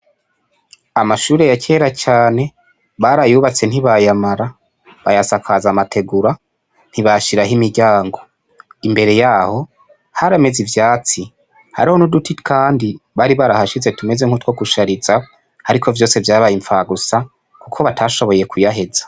Amashure ya kera cane barayubatse ntibayamara, bayasakaza amategura ntibashiraho imiryango, imbere yaho harameze ivyatsi, hariho n'uduti kandi bari barahashize tumeze nkutwo gushariza ariko vyose vyabaye inpfagusa kuko batashoboye kuyaheza.